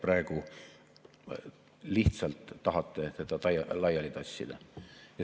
Praegu lihtsalt tahate teda laiali tassida.